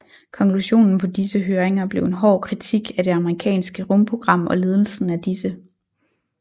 Konklusionen på disse høringer blev en hård kritik af det amerikanske rumprogram og ledelsen af disse